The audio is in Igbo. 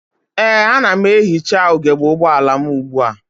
Ee, ana m ehicha ugebe ụgbọala m ugbua.